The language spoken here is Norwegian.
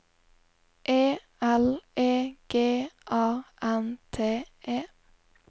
E L E G A N T E